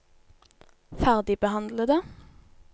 ferdigbehandlede